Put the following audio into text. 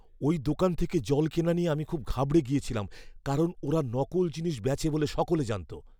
ওই দোকান থেকে জল কেনা নিয়ে আমি খুব ঘাবড়ে গিয়েছিলাম কারণ ওরা নকল জিনিস বেচে বলে সকলে জানত!